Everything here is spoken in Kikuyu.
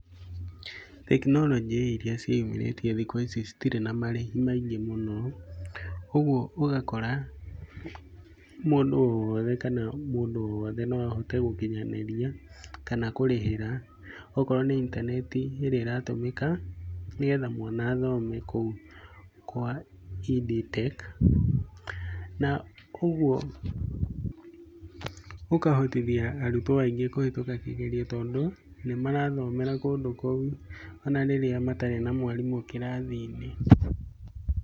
Tekinoronjĩ iria ciĩyumĩrĩtie thikũ ici citirĩ na marĩhi maingĩ mũno, ũguo ũgakora mũndũ o wothe kana mũndũ o wothe no ahote gũkinyanĩria kana kũrĩhĩra okorwo nĩ intaneti ĩrĩa ĩratũmĩka nĩgetha mwana athome kou kwa Ed Tech, na ũguo ũkahotithia arutwo aingĩ kũhĩtũka kĩgerio tondũ nĩ marathomera kũndũ kou ona rĩrĩa matarĩ na mwarimũ kĩrathi-inĩ.